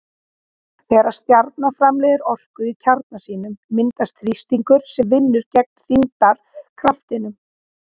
Þegar stjarna framleiðir orku í kjarna sínum myndast þrýstingur sem vinnur gegn þyngdarkraftinum.